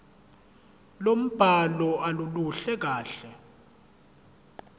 lombhalo aluluhle kahle